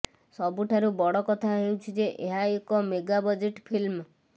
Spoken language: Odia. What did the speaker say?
ସବୁଠାରୁ ବଡ଼ କଥା ହେଉଛି ଯେ ଏହା ଏକ ମେଗା ବଜେଟ୍ ଫିଲ୍ମ